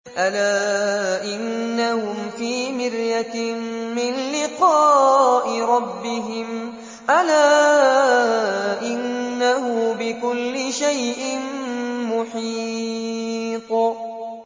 أَلَا إِنَّهُمْ فِي مِرْيَةٍ مِّن لِّقَاءِ رَبِّهِمْ ۗ أَلَا إِنَّهُ بِكُلِّ شَيْءٍ مُّحِيطٌ